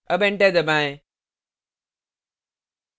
अब enter दबाएँ